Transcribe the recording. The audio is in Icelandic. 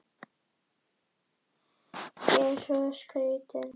Þú verður bara að vona að hún falli, segir Oddný í uppörvandi tón.